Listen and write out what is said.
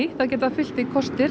það geta fylgt því kostir